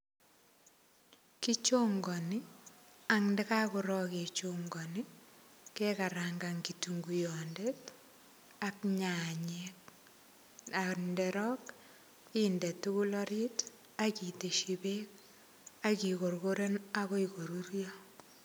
Kichongoni andakakorok kechongoni kekarangan kitunguyonde ak nyanyek andarok indetukul orit akiteshi beek akikorkoren akoi korurio.